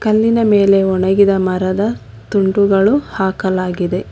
ಕಲ್ಲಿನ ಮೇಲೆ ಒಣಗಿದ ಮರದ ತುಂಡುಗಳು ಹಾಕಲಾಗಿದೆ.